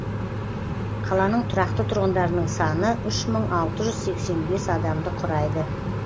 қаланың тұрақты тұрғындарының саны үш мың алты жүз сексен бес адамды құрайды